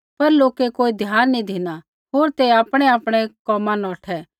पर लोकै कोई ध्यान नी धिना होर ते आपणैआपणै कोमा नौठै